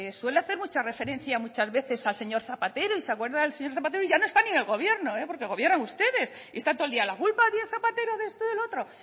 suele hacer mucha referencia muchas veces al señor zapatero y se acuerda del señor zapatero y ya no está ni en el gobierno porque gobiernan ustedes y está todo el día la culpa la tiene zapatero de esto y de lo otro